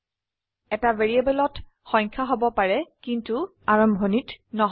এটা ভ্যাৰিয়েবলেত সংখ্যা হব পাৰে কিন্তু আৰ্ভনিত নহয়